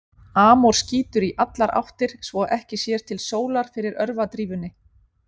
Amor skýtur í allar áttir svo að ekki sér til sólar fyrir örvadrífunni.